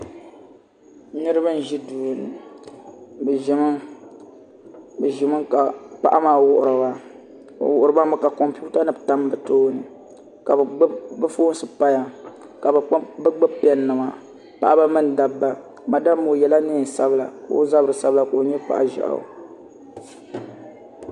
Niraba n ʒi duu ŋo bi ʒimi ka paɣa maa wuhuriba o wuhuriba mi ka kompiuta nim tam bi tooni ka bi foons paya ka bi gbubi pɛn nima paɣaba mini dabba madam ŋo o yɛla neen sabila ka o zabiri sabigi ka o nyɛ paɣa ʒiɛɣu